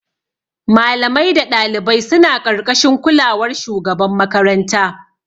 Malamai da ɗalibai suna ƙarƙashin kulawar shugaban makaranta.